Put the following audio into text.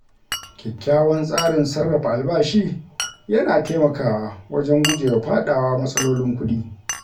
Kyakkyawan tsarin sarrafa albashi yana taimakawa wajen gujewa faɗawa matsalolin kuɗi.